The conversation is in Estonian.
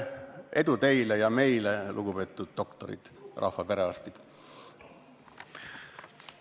Edu teile ja meile, lugupeetud doktorid, rahva perearstid!